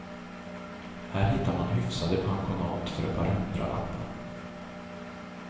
Här hittar man hyfsade pensionat för ett par hundralappar.